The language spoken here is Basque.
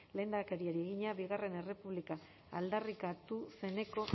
lehendakariari egina bigarren errepublika aldarrikatu zeneko